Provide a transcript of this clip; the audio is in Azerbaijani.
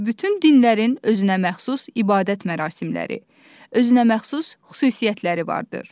Bütün dinlərin özünəməxsus ibadət mərasimləri, özünəməxsus xüsusiyyətləri vardır.